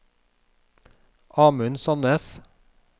Amund Sandnes